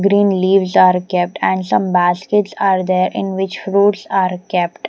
Green leaves are kept and some baskets are there in which fruits are kept.